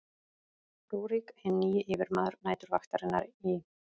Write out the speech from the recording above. rúrík hinn nýji yfirmaður næturvaktarinnar í